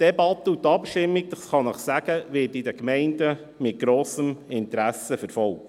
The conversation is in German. Die Debatte und die Abstimmung werden seitens der Gemeinden mit grossem Interesse verfolgt.